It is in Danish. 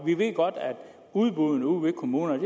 vi ved godt at udbuddene ude ved kommunerne